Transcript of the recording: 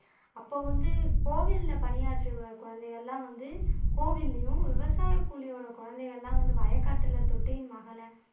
அப்போ வந்து கோவில்ல பணியாற்றிய குழந்தைகள் எல்லாம் வந்து கோவில்லயும் விவசாய கூலியோட குழந்தைகள் எல்லாம் வயக்காட்டுல